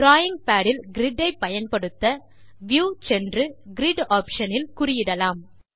drawing pad இல் grid ஐ பயன்படுத்த வியூ சென்று கிரிட் ஆப்ஷன் இல் குறியிடலாம்